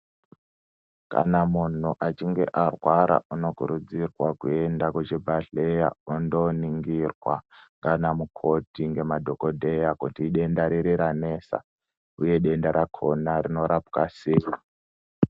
Kana mundu achinge arwara unokuridzirwa kuenda kuzvibhehlera ondoningirwa ndiana mukoti ngema dhokoteya kuti denda riri ranesa uye denda rakona rinorapwa sei.